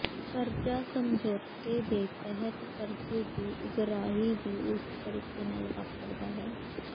ਕਰਜ਼ਾ ਸਮਝੌਤੇ ਦੇ ਤਹਿਤ ਕਰਜ਼ੇ ਦੀ ਉਗਰਾਹੀ ਵੀ ਉਸੇ ਤਰੀਕੇ ਨਾਲ ਵਾਪਰਦਾ ਹੈ